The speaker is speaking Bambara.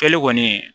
Kɛlen kɔni